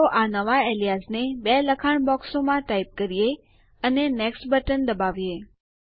તો ચાલો આ નવા એલીયાઝને બે લખાણ બોક્સોમાં ટાઈપ કરીએ અને નેક્સ્ટ બટન દબાવીએ